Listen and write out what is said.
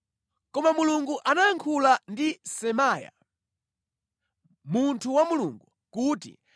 Koma Mulungu anayankhula ndi Semaya, munthu wa Mulungu kuti,